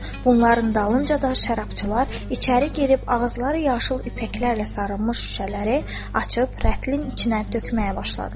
Bunların dalınca da şərabçılar içəri girib ağızları yaşıl ipəklərlə sarınmış şüşələri açıb rətlərin içinə tökməyə başladılar.